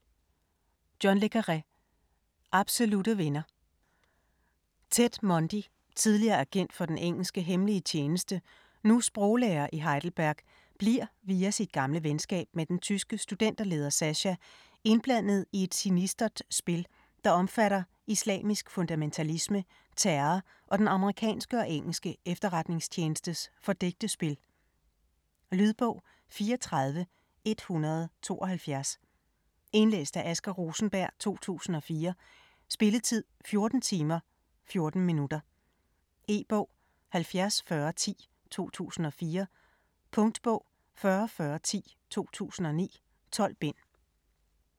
Le Carré, John: Absolutte venner Ted Mundy, tidligere agent for den engelske hemmelige tjeneste, nu sproglærer i Heidelberg, bliver, via sit gamle venskab med den tyske studenterleder Sascha, indblandet i et sinistert spil, der omfatter islamisk fundamentalisme, terror og den amerikanske og engelske efterretningstjenestes fordækte spil. Lydbog 34172 Indlæst af Asger Rosenberg, 2004. Spilletid: 14 timer, 14 minutter. E-bog 704010 2004. Punktbog 404010 2009. 12 bind.